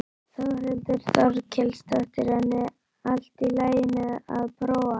Þórhildur Þorkelsdóttir: En allt í lagi að prófa?